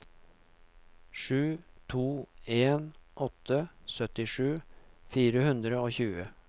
sju to en åtte syttisju fire hundre og tjue